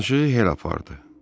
Danışığı belə apardı.